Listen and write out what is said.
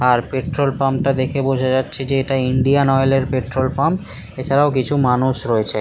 আর petrol pump দেখে বোঝা যাচ্ছে যে এটা ইন্ডিয়ান অয়েল এর পেট্রল পাম্প এছারাও কিছু মানুষ রয়েছে। ।